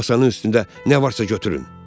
Masanın üstündə nə varsa götürün.